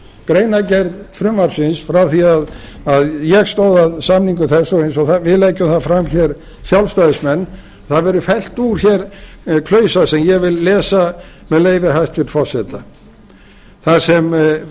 greinargerð frumvarpsins frá því að ég stóð að samningu þess og eins og við leggjum það fram hér sjálfstæðismenn það hefur verið felld úr hér klausa sem ég vil lesa með leyfi hæstvirts forseta þar sem